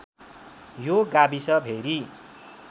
यो गाविस भेरी